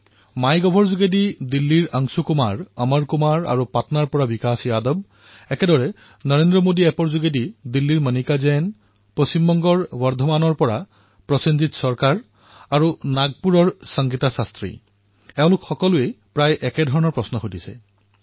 মাই গভত দিল্লীৰ অংশু কুমাপ অমৰ কুমাৰ আৰু পাটনাৰ পৰা বিকাশ যাদৱ ঠিক সেইদৰে নৰেন্দ্ৰ মোদীৰ এপত দিল্লীৰ মণিকা জৈন পশ্চিম বংগৰ বৰ্ধমানৰ প্ৰসেনজিৎ চৰকাৰ আৰু নাগপুৰৰ সংগীতা শাস্ত্ৰী এওঁলোক সকলোৱে প্ৰায় একেধৰণৰ প্ৰশ্নই সুধিছে